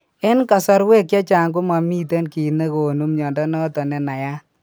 En kasarwek chechang ko momiten kiit negonu mnyondo noton nenayat